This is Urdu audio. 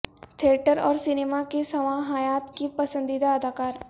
تھیٹر اور سینما کی سوانح حیات کے پسندیدہ اداکار